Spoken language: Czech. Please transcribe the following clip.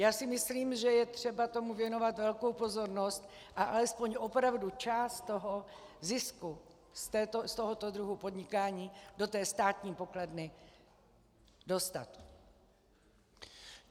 Já si myslím, že je třeba tomu věnovat velkou pozornost a alespoň opravdu část toho zisku z tohoto druhu podnikání do té státní pokladny dostat.